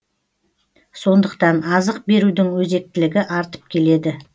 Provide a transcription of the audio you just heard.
сондықтан азық берудің өзектілігі артып келеді